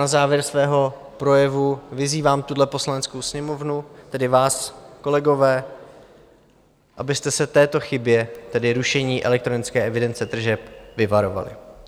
Na závěr svého projevu vyzývám tuhle Poslaneckou sněmovnu, tedy vás, kolegové, abyste se této chyby, tedy rušení elektronické evidence tržeb, vyvarovali.